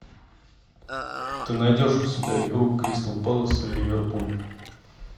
ты найдешь у себя игру кристал пэлас и ливерпуль